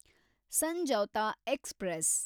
Samjhauta express